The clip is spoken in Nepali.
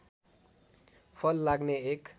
फल लाग्ने एक